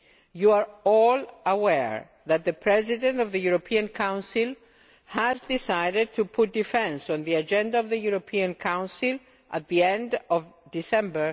You are all aware that the President of the European Council has decided to put defence on the agenda of the European Council at the end of December